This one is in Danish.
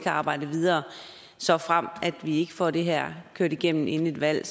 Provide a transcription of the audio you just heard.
arbejde videre såfremt vi ikke får det her kørt igennem inden et valg